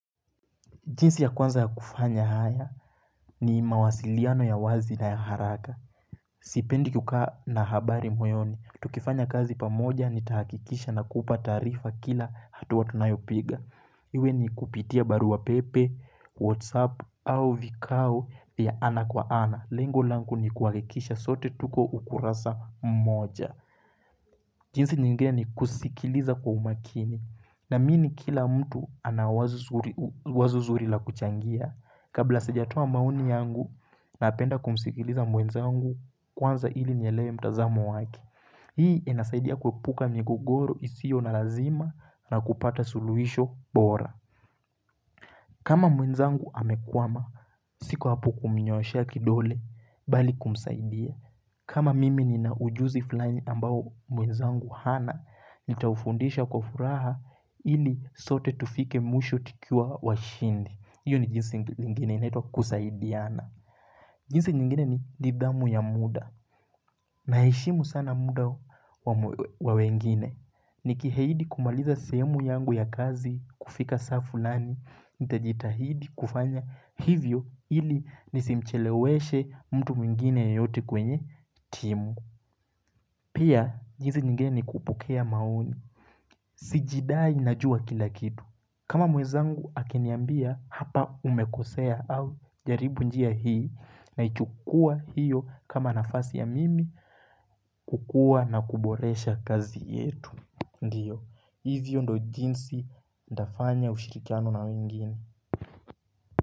Jinsi ya kwanza ya kufanya haya ni mawasiliano ya wazi na haraka. Sipendi kukaa na habari moyoni. Tukifanya kazi pamoja nitahakikisha na kupa taarifa kila hatua nayopiga. Iwe ni kupitia baru wa pepe, whatsapp au vikao ya ana kwa ana. Lengo langu ni kuhakikisha sote tuko ukurasa mmoja. Jinsi nyiginge ni kusikiliza kwa umakini. Naamini kila mtu anawazu zuri la kuchangia. Kabla sijatoa maoni yangu naapenda kumsikiliza mwenzangu kwanza ili niliewe mtazamo wake. Hii inasaidia kuepuka migogoro isio na lazima na kupata suluhisho bora. Kama mwenzangu amekwama, siku hapo kumnyoshea kidole bali kumsaidia. Kama mimi ni na ujuzi fulaini ambao mwenzangu hana, nitaufundisha kwa furaha ili sote tufike mwisho tukiwa washindi. Iyo ni jinsingi lingine inaitwa kusaidiana. Jinsi nyingine ni didamu ya muda. Naheshimu sana muda wa wengine. Nikiahidi kumaliza semu yangu ya kazi kufika saa fulani. Nitajitahidi kufanya hivyo ili nisimcheleweshe mtu mwingine yeyote kwenye timu. Pia, jinsi nyingeni kupokea maoni. Sijidai najua kila kitu. Kama mwezangu akiniambia hapa umekosea au jaribu njia hii na ichukua hiyo kama nafasi ya mimi kukua na kuboresha kazi yetu. Ndiyo, hivyo ndo jinsi nitafanya ushirikiano na wengine.